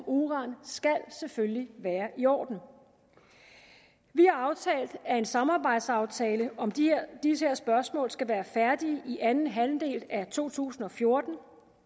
uran skal selvfølgelig være i orden vi har aftalt at en samarbejdsaftale om de her spørgsmål skal være færdig i anden halvdel af to tusind og fjorten